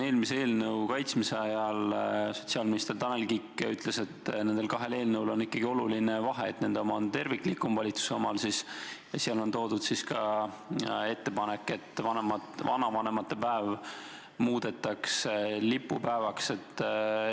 Eelmise eelnõu kaitsmise ajal sotsiaalminister Tanel Kiik ütles, et nendel kahel eelnõul on ikkagi oluline vahe, et nende oma on terviklikum, valitsuse oma siis, ja seal on toodud ka ettepanek, et vanavanemate päev muudetakse lipupäevaks.